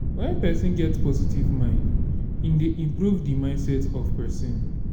when person get positive mind e dey improve di mindset of person